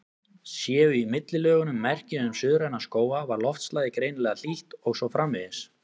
Séu í millilögunum merki um suðræna skóga var loftslagið greinilega hlýtt, og svo framvegis.